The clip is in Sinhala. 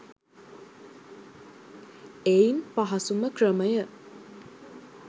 එයින් පහසුම ක්‍රමය